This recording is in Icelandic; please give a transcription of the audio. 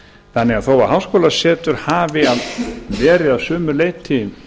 þannig að þó að háskólasetur hafi verið að sumu leyti